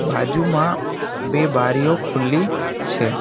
બાજુમાં બે બારીઓ ખુલ્લી છે.